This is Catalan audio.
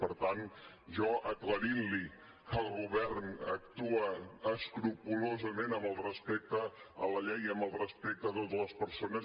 per tant jo aclarint li que el govern actua escrupolosament amb el respecte a la llei i amb el respecte a totes les persones